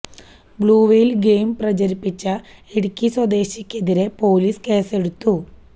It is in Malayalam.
ബ്ലൂ വെയിൽ ഗെയിം പ്രചരിപ്പിച്ച ഇടുക്കി സ്വദേശിക്കെതിരെ പൊലീസ് കേസെടുത്തു